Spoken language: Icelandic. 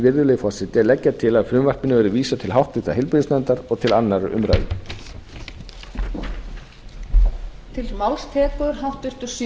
virðulegi forseti að leggja til að frumvarpinu verði vísað til háttvirtrar heilbrigðisnefndar og til annarrar umræðu